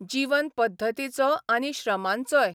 जीवन पद्दतीचो आनी श्रमांचोय.